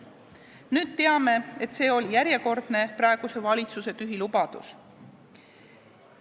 Nüüd teame, et see oli praeguse valitsuse järjekordne tühi lubadus.